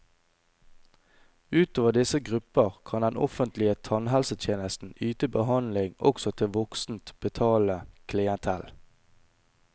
Utover disse grupper kan den offentlige tannhelsetjenesten yte behandling også til voksent, betalende klientell.